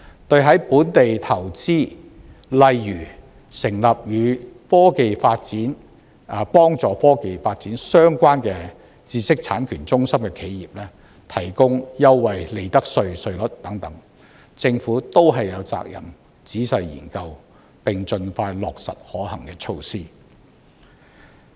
對在本地投資，例如成立與科技發展、幫助科技發展相關的知識產權中心的企業，提供優惠利得稅稅率等，政府均有責任仔細研究，並盡快落實可行措施。